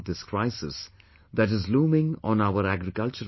Most people will be familiar with 'Kapalbhati' and 'AnulomVilom Pranayam'